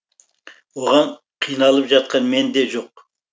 оған қиналып жатқан мен де жоқ